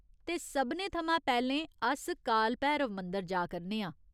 ते सभनें थमां पैह्‌लें अस काल भैरव मंदर जा करने आं।